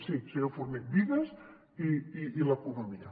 sí senyor forné vides i l’economia